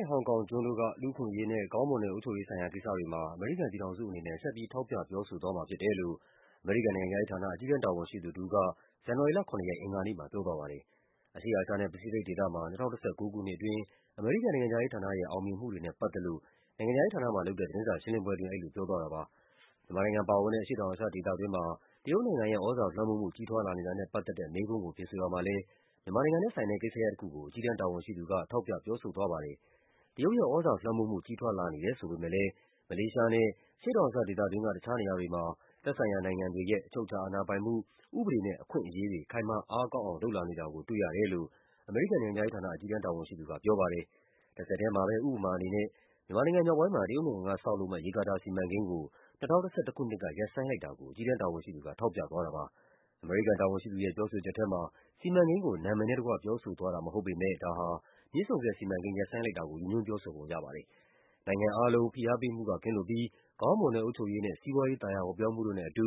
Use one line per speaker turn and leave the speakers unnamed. ဲ့ ဟောင်ကောင်ကျွန်းတို့က လူ့အခွင့်အရေးနဲ့ ကောင်းမွန်တဲ့ အုပ်ချုပ်ရေးဆိုင်ရာ ကိစ္စတွေမှာ အမေရိကန် ပြည်ထောင်စုအနေနဲ့ ဆက်ပြီး ထောက်ပြ ပြောဆိုသွားမှာဖြစ်တယ်လို့ အမေရိကန်နိုင်ငံခြားရေးဌာန၊ အကြီးတန်း တာဝန်ရှိသူ တဦးက ဇန်နဝါရီ လ ၇ ရက်၊ အင်္ဂါနေ့မှာ ပြောသွားပါတယ်။ အရှေ့အာရှနဲ့ ပစိဖိတ်ဒေသမှာ ၂၀၁၉ ခုနှစ်အတွင်း အမေရိကန်နိုင်ငံခြားရေးဌာနရဲ့ အောင်မြင်မှုတွေနဲ့ပတ်သက်လို့ နိုင်ငံခြားရေး ဌာနမှာလုပ်တဲ့ သတင်းစာရှင်းလင်းပွဲအတွင်း အဲဒီလိုပြောသွားတာပါ။ မြန်မာနိုင်ငံပါဝင်တဲ့ အရှေ့တောင်အာရှဒေသတွင်းမှာ တရုတ်နိုင်ငံရဲ့ သြဇာလွှမ်းမိုးမှု ကြီးထွားလာနေတာနဲ့ပတ်သက်တဲ့ မေးခွန်း ကို ဖြေဆိုရာမှာလည်း မြန်မာနိုင်ငံနဲ့ဆိုင်တဲ့ ကိစ္စရပ်တခုကို အကြီးတန်းတာဝန်ရှိသူက ထောက်ပြပြောဆိုသွားပါတယ်။ တရုတ်ရဲ့သြဇာလွှမ်းမိုးမှု ကြီးထွားလာနေတယ် ဆိုပေမယ့်လည်း မလေးရှားနဲ့ အရှေ့တောင်အာရှဒေသတွင်းက တခြားနေရာ တွေမှာ သက်ဆိုင်ရာနိုင်ငံတွေရဲ့ အချုပ်အခြာအာဏာပိုင်မှု၊ ဥပဒေနဲ့ အခွင့်အရေးတွေ ခိုင်မာအားကောင်းအောင် လုပ်လာနေတာ ကို တွေ့ရတယ်လို့ အမေရိကန်နိုင်ငံခြားရေးဌာန အကြီးတန်းတာဝန်ရှိသူက ပြောပါတယ်။ တဆက်ထဲမှာပဲ ဥပမာအနေနဲ့ မြန်မာနိုင်ငံမြောက်ပိုင်းမှာ တရုတ်နိုင်ငံက ဆောက်လုပ်မယ့် ရေကာတာစီမံကိန်းကို ၂၀၁၁ ခုနှစ် က ရပ်ဆိုင်းလိုက်တာကို အကြီးတန်းတာဝန်ရှိသူက ထောက်ပြသွားတာပါ။ အမေရိကန်တာဝန်ရှိသူရဲ့ ပြောဆိုချက်ထဲမှာ စီမံကိန်းကို နာမည်နဲ့တကွ ပြောဆိုသွားတာမဟုတ်ပေမယ့် ဒါဟာ မြစ်ဆုံဆည်စီမံ ကိန်း ရပ်ဆိုင်းလိုက်တာကို ရည်ညွှန်းပြောဆိုပုံရပါတယ်။ နိုင်ငံအားလုံး ဖိအားပေးမှုက ကင်းလွတ်ပြီး ကောင်းမွန်တဲ့အုပ်ချုပ်ရေးနဲ့ စီးပွားရေး သာယာဝပြောမှုတို့နဲ့အတူ